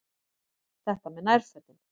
Þetta með nærfötin.